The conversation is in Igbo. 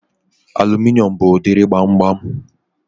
Aluminium bụ udiri gbamgbam